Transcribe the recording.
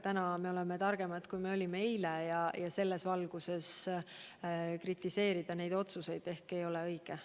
Täna me oleme targemad, kui me olime eile, ja selles valguses neid otsuseid kritiseerida ei ole ehk õige.